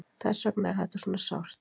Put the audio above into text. Þess vegna er þetta svona sárt.